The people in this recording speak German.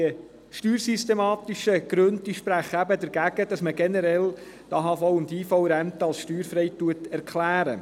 Die steuersystematischen Gründe sprechen dagegen, dass man generell die AVH- und IV-Rente für steuerfrei erklärt.